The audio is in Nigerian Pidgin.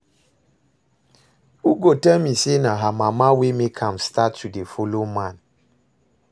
Ugo tell me say na her mama wey make am start to dey follow man